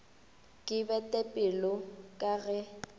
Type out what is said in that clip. ke bete pelo ka ge